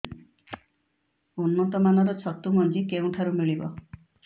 ଉନ୍ନତ ମାନର ଛତୁ ମଞ୍ଜି କେଉଁ ଠାରୁ ମିଳିବ